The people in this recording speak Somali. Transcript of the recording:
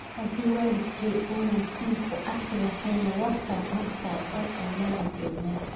Haddii waalidkay aanay tan ku arki lahayn warka markaa halkan manu joognen.